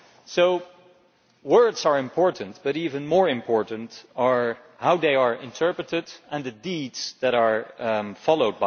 So words are important, but even more important is how they are interpreted, and the deeds that follow.